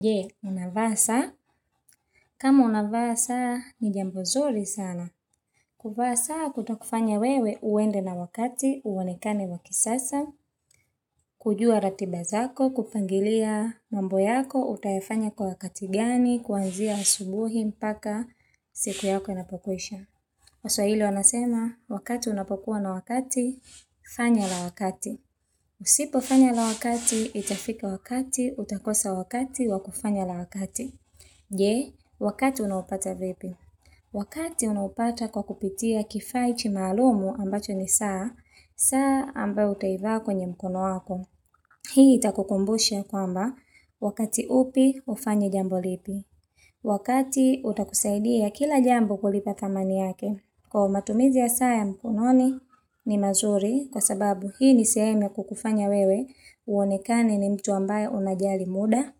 Je, unavaa saa kama unavaa saa ni jambo zuri sana. Kuvaa saa kutakufanya wewe uende na wakati, uonekane wa kisasa, kujua ratiba zako, kupangilia mambo yako, utayafanya kwa wakati gani, kuanzia asubuhi, mpaka siku yako inapokuisha. Waswahili wanasema, wakati unapokuwa na wakati, fanya la wakati. Usipofanya la wakati, itafika wakati, utakosa wakati wa kufanya la wakati. Je, wakati unaupata vipi Wakati unaupata kwa kupitia kifaa hiki maalumu ambacho ni saa, saa ambayo utaivaa kwenye mkono wako. Hii itakukumbushia kwamba, wakati upi, hufanye jambo lipi. Wakati utakusaidia kila jambo kulipa dhamani yake. Kwa hivyo matumizi ya saa ya mkononi ni mazuri, kwa sababu hii ni semhemu ya kukufanya wewe, uonekane ni mtu ambaye unajali muda,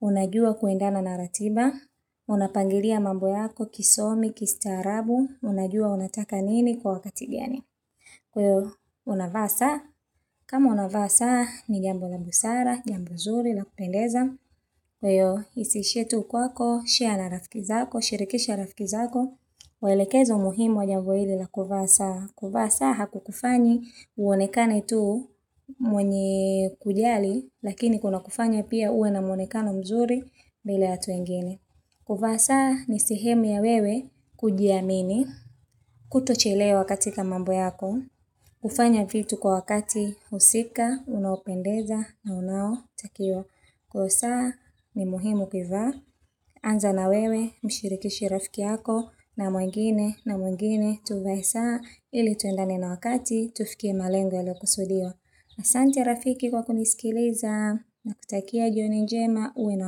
unajua kuendana na ratiba, unapangilia mambo yako kisomi, kistaarabu, unajua unataka nini kwa wakati gani. Kwa hiyo, unavaa saa kama unavaa saa ni jambo la busara, jambo nzuri la kupendeza. Kwa hiyo, isihishhie tu kwako, share na rafiki zako, shirikisha rafiki zako. Mwelekezo muhimu wa jambo hili la kuvaa saa. Kuvaa saa hakukufanyi, uonekane tu mwenye kujali, lakini kunakufanya pia uwe na mwonekano mzuri, mbele ya watu wengine kuvaa saa ni sihemu ya wewe kujiamini, kutochelewa katika mambo yako, kufanya vitu kwa wakati husika, unaopendeza na unao takiwa. Kwa hivyo saa ni muhimu kuivaa, anza na wewe, mshirikishe rafiki yako na mwengine, na mwengine, tuvae saa ili tuendane na wakati tufikie malengo yaliokusudiwa asante rafiki kwa kuniskiliza nakutakia jioni jema uwe na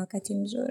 wakati mzuri.